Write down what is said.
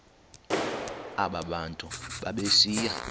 aba bantu babesiya